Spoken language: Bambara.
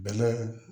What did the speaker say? Bɛnɛ